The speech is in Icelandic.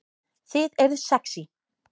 Þið eruð sexý